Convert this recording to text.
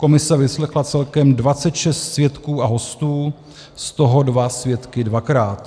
Komise vyslechla celkem 26 svědků a hostů, z toho dva svědky dvakrát.